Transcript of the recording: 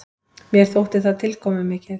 Mér þótti það tilkomumikið.